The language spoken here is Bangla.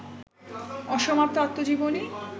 অসমাপ্ত আত্মজীবনী